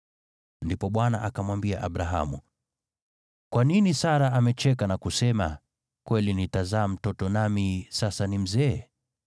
Ndipo Bwana akamwambia Abrahamu, “Kwa nini Sara amecheka na kusema, ‘Kweli nitazaa mtoto nami sasa ni mzee?’